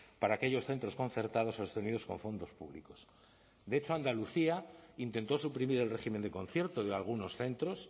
para aquellos centros concertados sostenidos con fondos públicos de hecho andalucía intentó suprimir el régimen de concierto de algunos centros